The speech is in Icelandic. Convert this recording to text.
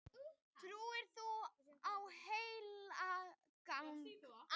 Trúir þú á heilagan anda